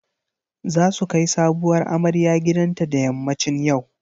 Za su kai sabuwar amarya gidanta da yammacin yau.